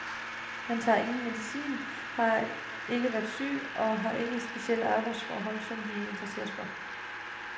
Mange tager ingen medicin, har ikke været syge og har ikke de specielle arbejdsforhold, som vi interesserer os for.